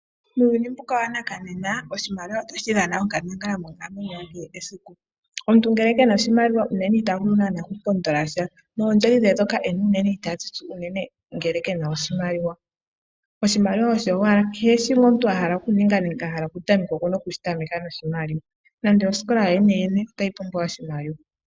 Muuyuni mbuka wanakanena oshimaliwa ohashi dhana onkandangala monkalamwe yomuntu yesiku. Omuntu ngele ke na uunene ita vulu lela okupondolasha noondjodhi dhe ndhoka ena ita dhi tsu unene ngele ke na oshimaliwa. Oshimaliwa osho owala, kehe shoka omuntu wa hala okuninga nenge oku tameka oku na oku shi tameka noshimaliwa. Nosikola yoyeneyene otayi pumbwa oshimaliwa.